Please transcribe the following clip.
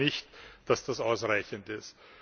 Ich glaube nicht, dass das ausreichend ist.